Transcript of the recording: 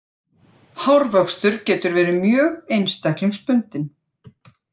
Hárvöxtur getur verið mjög einstaklingsbundinn.